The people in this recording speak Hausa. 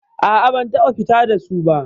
A'a, ban taɓa fita da su ba.